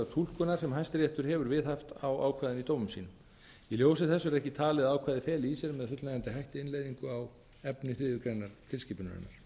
túlkunar sem hæstiréttur hefur viðhaft á ákvæðinu í dómum sínum í ljósi þess verði ekki talið að ákvæðið feli í sér með fullnægjandi hætti innleiðingu á efni þriðju greinar tilskipunarinnar